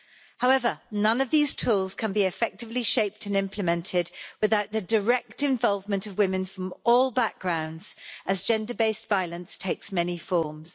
However, none of these tools can be effectively shaped and implemented without the direct involvement of women from all backgrounds, as gender based violence takes many forms.